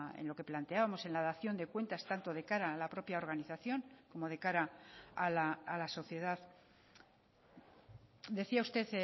en lo que planteábamos en la dación de cuentas tanto de cara a la propia organización como de cara a la sociedad decía usted